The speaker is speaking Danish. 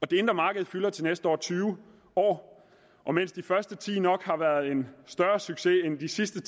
det indre marked fylder til næste år tyve år og mens de første ti år nok har været en større succes end de sidste